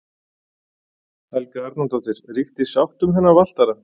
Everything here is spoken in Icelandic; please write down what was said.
Helga Arnardóttir: Ríkti sátt um þennan valtara?